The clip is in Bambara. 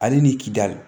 Ale ni kidali